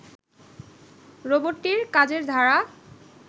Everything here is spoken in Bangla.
রোবটটির কাজের ধারা